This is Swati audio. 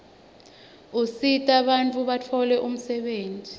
usita bantfu batfole umsebenti